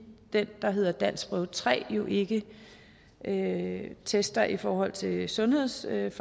det der hedder danskprøve tre jo ikke ikke tester i forhold til sundhedsfagligt